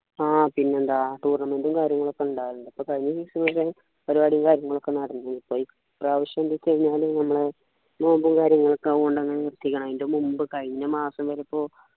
ആഹ് പിന്നെന്താ tournament ഉം കാര്യങ്ങളൊക്കെ ഉണ്ടാവാറുണ്ട് പ്പോ കഴിഞ്ഞ season ലു പരിപാടി കാര്യങ്ങളൊക്കെ നടന്നു ഇപ്പ്രാവശ്യം എന്തൊക്കെ കഴിഞ്ഞാല് നമ്മളെ നോമ്പും കാര്യങ്ങളൊക്കെ അങ്ങനെ ചെയ്യണം അതിൻ്റെ മുമ്പ് കഴിഞ്ഞ മാസം വരെ പ്പോ